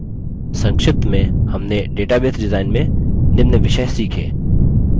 संक्षिप्त में हमने database डिजाइन में निम्न विषय सीखे: